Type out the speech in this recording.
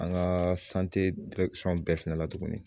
An gaa sante dirɛkisɔn bɛɛ fɛnɛ la tuguni